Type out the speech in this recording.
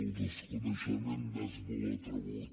el desconeixement és molt atrevit